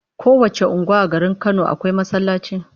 Kowacce unguwa a garin Kano akwai masallaci.